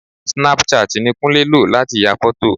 Snapchat ni Kúnlé lò láti ya fọ́tò